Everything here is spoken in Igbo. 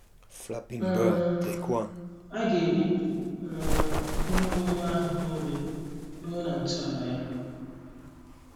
um A ga - ebibi um ihe owuwu ahụ nile, ruo na ntọala ya.